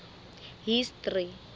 history